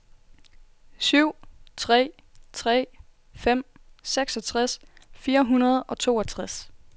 syv tre tre fem seksogtres fire hundrede og toogtres